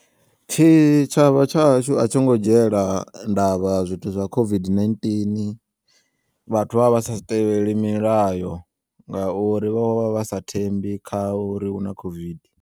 Tshitshavha tsha hashu a tshongo dzhiyela ndavha zwithu zwa COVID-19 vhathu vha vha sa tevheli milayo ngauri vho vha vha sa thembi kha uri huna COVID.